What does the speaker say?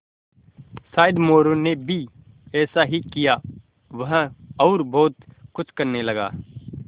शायद मोरू ने भी ऐसा ही किया वह और बहुत कुछ करने लगा